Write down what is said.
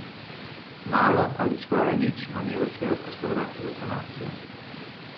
Malo ali skoraj nič manevrskega prostora za sanacijo.